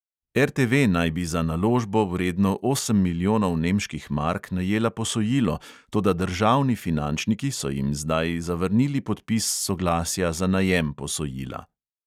RTV naj bi za naložbo, vredno osem milijonov nemških mark, najela posojilo, toda državni finančniki so jim zdaj zavrnili podpis soglasja za najem posojila.